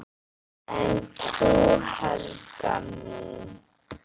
En þú, Helga mín?